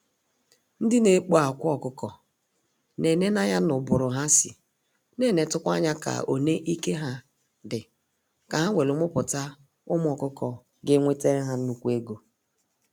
Ndị na ekpo akwa ọkụkọ na eneneanya na ụbụrụ ha sị, n'enetukwa anya ka one ike ha dị ka ha welu muputa ụmụ ọkụkọ ga-enwete ha nnukwu ego.